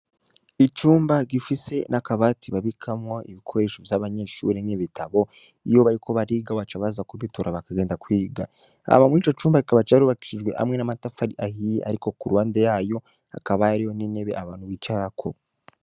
Icumba gifise n'akabati babikamwo ibikoresho vy'abanyeshure n'ibitabu iyo bariko bariga baca baza kubitora bakagenda kwiga. Hanyuma muri Ico cumba kikaba carubakishijwe hamwe n'amatafari ahiye ariko ku ruhande yayo hakaba hariyo n'intebe abantu bicarako.